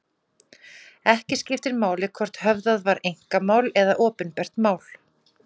Ekki skiptir máli hvort höfðað var einkamál eða opinbert mál.